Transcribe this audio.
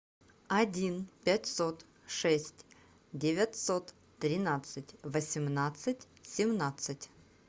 один пятьсот шесть девятьсот тринадцать восемнадцать семнадцать